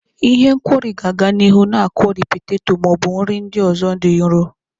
Ihe nkwori ga-aga n'ihu na akwori peteto ma ọ bụ nri ndị ọzọ dị nro.